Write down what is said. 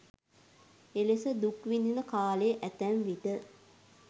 එලෙස දුක් විඳින කාලය ඇතැම්විට